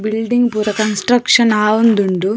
Building ಪೂರ construction ಆವೊಂದುಂಡು.